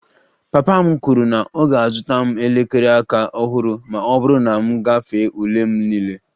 Papa m kwuru na ọ ga-azụta m elekere aka ọhụrụ ma ọ bụrụ na m gafere ule m niile